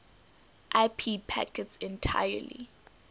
ip packets entirely